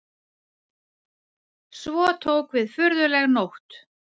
Svo tók við furðuleg nótt.